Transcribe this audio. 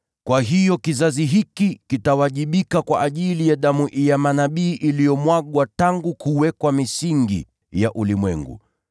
Kwa hiyo kizazi hiki kitawajibika kwa ajili ya damu ya manabii iliyomwagwa tangu kuwekwa misingi ya ulimwengu,